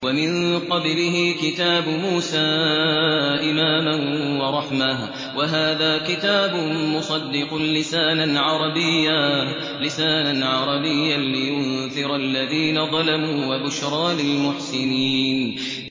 وَمِن قَبْلِهِ كِتَابُ مُوسَىٰ إِمَامًا وَرَحْمَةً ۚ وَهَٰذَا كِتَابٌ مُّصَدِّقٌ لِّسَانًا عَرَبِيًّا لِّيُنذِرَ الَّذِينَ ظَلَمُوا وَبُشْرَىٰ لِلْمُحْسِنِينَ